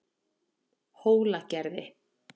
Hólagerði